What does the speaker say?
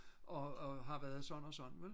og har været sådan og sådan vel